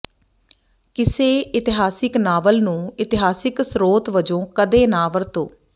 ਕਿਸੇ ਇਤਿਹਾਸਕ ਨਾਵਲ ਨੂੰ ਇਤਿਹਾਸਕ ਸਰੋਤ ਵਜੋਂ ਕਦੇ ਨਾ ਵਰਤੋ